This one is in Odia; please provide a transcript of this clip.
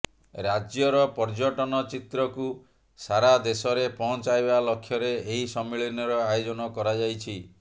ରାଜ୍ୟର ପର୍ଯ୍ୟଟନ ଚିତ୍ରକୁ ସାରାଦେଶରେ ପହଞ୍ଚାଇବା ଲକ୍ଷ୍ୟରେ ଏହି ସମ୍ମିଳନୀର ଆୟୋଜନ କରାଯାଇଛି